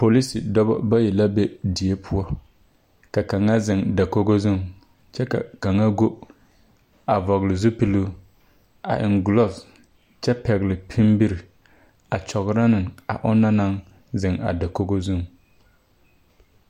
Polise dɔbɔ bayi la be die poɔ ka kaŋa zeŋ dakogo zuŋ kyɛ ka kaŋa go a vɔgle zupiluu a eŋ gloves kyɛ pɛgle pimbire a kyɔgrɔ neŋ a o nɔŋ naŋ zeŋ a daoge zuŋ.